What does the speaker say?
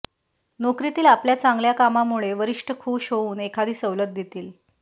नोकरीतील आपल्या चांगल्याकामामुळे वरिष्ठ खूष होऊन एखादी सवलत देतील